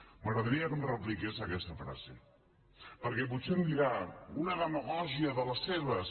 m’agradaria que em repliqués aquesta frase perquè potser em dirà una demagògia de les seves